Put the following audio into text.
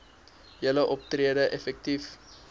julle optrede effektief